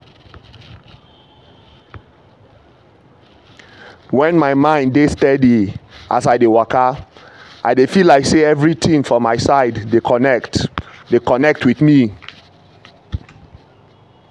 when my mind dey steady as i dey waka i dey feel like say everything for my side dey connect dey connect with me.